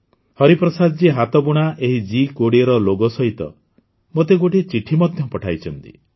ହରିପ୍ରସାଦଜୀ ହାତ ବୁଣା ଏହି ଜି୨୦ର ଲୋଗୋ ସହିତ ମୋତେ ଗୋଟିଏ ଚିଠି ମଧ୍ୟ ପଠାଇଛନ୍ତି